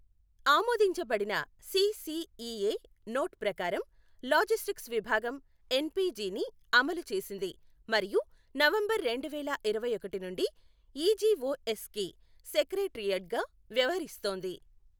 ఆమోదించబడిన CCEA note ప్రకారం logistics విభాగం ఎన్పిజిని అమలు చేసింది మరియు నవంబర్ రెండువేల ఇరవై ఒకటి నుండి ఈజీఒఎస్కి సెక్రటేరియట్గా వ్యవహరిస్తోంది.